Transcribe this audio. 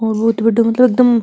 और बहोत बड़ो मतलब एकदम --